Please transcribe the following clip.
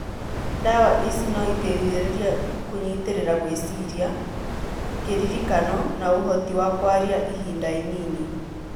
Ndawa ici noiteithĩrĩrie kũnyitĩrĩra gwĩciria, kĩririkano , na ũhoti wa kwaria ihinda inini